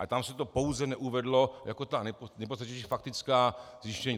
Ale tam se to pouze neuvedlo jako ta nejpodstatnější faktická zjištění.